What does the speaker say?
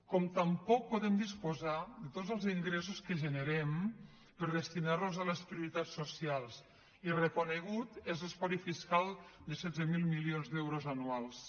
com tampoc podem disposar de tots els ingressos que generem per destinarlos a les prioritats socials i reconegut és l’espoli fiscal de setze mil milions d’euros anuals